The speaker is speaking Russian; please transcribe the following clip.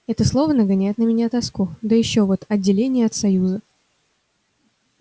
это слово нагоняет на меня тоску да и ещё вот отделение от союза